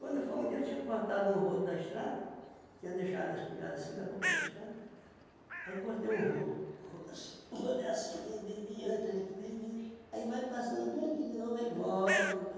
Quando foi um dia, eu tinha cortado um rodo da estrada, tinha deixado a espigada assim na boca da estrada, aí cortei um rodo, rodo assim, um rodo é assim, vem, vem, vem, eu entrei aqui, vem, vem, aí vai passando bem aqui de novo, aí volta para cá.